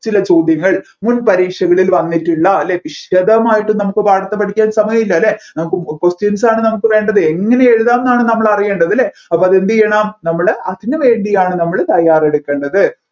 ചില ചോദ്യങ്ങൾ മുൻപരീക്ഷകളിൽ വന്നിട്ടുള്ള അല്ല വിശദമായിട്ട് നമ്മുക്ക് പാഠത്തെ പഠിക്കാൻ സമയമില്ല അല്ലെ നമ്മുക്ക് question സ് ആണ് നമ്മുക് വേണ്ടത് എങ്ങനെ എഴുതാം എന്നാണ് നമ്മൾ അറിയേണ്ടത് അല്ലെ അപ്പോ എന്ത് ചെയ്യണം നമ്മൾ അതിന് വേണ്ടിയാണ് നമ്മൾ തയ്യാറെടുക്കണ്ടത്‌